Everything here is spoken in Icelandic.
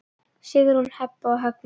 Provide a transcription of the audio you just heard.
Sigrún, Heba og Högni.